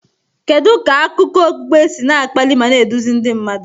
Kedu ka akụkọ okpukpe si akpali ma na-eduzi ndị mmadụ?